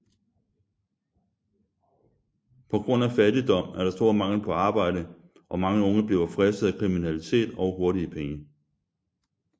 På grund af fattigdom er der stor mangel på arbejde og mange unge bliver fristet af kriminalitet og hurtige penge